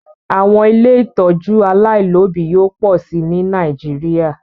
Àwọn ilé ìtọ́jú aláìlóbìí yóò pọ̀ sí ní Nàìjíríà